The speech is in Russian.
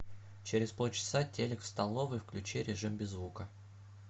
через полчаса телек в столовой включи режим без звука